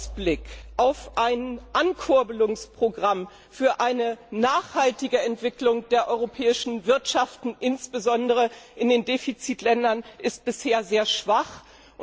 Die Aussichten auf ein Ankurbelungsprogramm für eine nachhaltige Entwicklung der europäischen Wirtschaft, insbesondere in den Defizitländern, sind bisher sehr gering.